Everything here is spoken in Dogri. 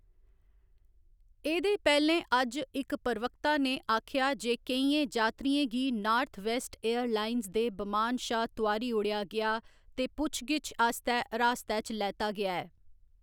एह्‌‌‌दे पैह्‌लें अज्ज, इक प्रवक्ता ने आखेआ जे केइयें जातरियें गी नार्थवेस्ट एयरलाइंस दे बमान शा तोआरी ओड़ेआ गेआ ते पुच्छ गिच्छ आस्तै हरासतै च लैता गेआ ऐ।